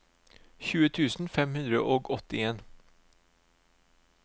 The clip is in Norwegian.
tjue tusen fem hundre og åttien